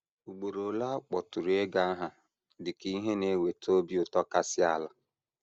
Ugboro ole a kpọtụrụ ego aha dị ka ihe na - eweta obi ụtọ kasị ala.